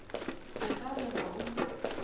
go ka re ga o